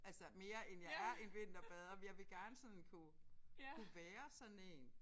Altså mere end jeg er en vinterbader men jeg vil gerne sådan kunne kunne være sådan en